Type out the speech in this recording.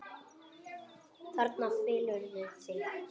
Þarna felurðu þig!